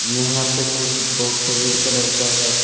यहां पे कुछ बॉक्स रेड कलर का है।